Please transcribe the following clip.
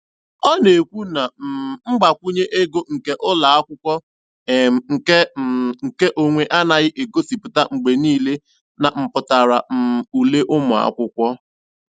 Ọ na-ekwu na um mgbakwunye ego nke ụlọakwụkwọ um nke um nke onwe anaghị egosipụta mgbe niile na mpụtara um ule ụmụakwụkwọ.